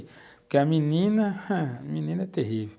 Porque a menina, a menina é terrível.